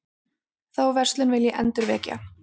Þá verslun vil ég endurvekja.